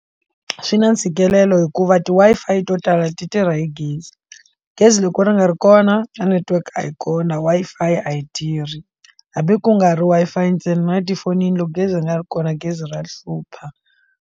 Swi na ntshikelelo hikuva ti Wi-Fi to tala ti tirha hi gezi gezi loko ri nga ri kona a network a yi kona Wi-Fi a yi tirhi hambi ku nga ri Wi-Fi ntsena na tifonini loko gezi ri nga ri kona gezi ra hlupha.